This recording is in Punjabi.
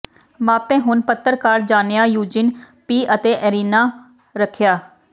ਮਾਪੇ ਹੁਣ ਪੱਤਰਕਾਰ ਜਾਣਿਆ ਯੂਜੀਨ ਪੀ ਅਤੇ ਇਰੀਨਾ ਰੱਖਿਆ